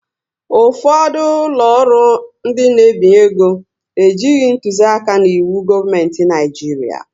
Ụfọdụ ụlọ ọrụ ndị n'ebinye ego ejighị ntuzi aka n'iwu gọọmenti Naijiria